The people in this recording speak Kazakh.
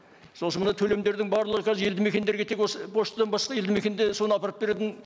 сосын мына төлемдердің барлығы қазір елді мекендерге тек осы поштадан басқа елді мекенде соны апарып беретін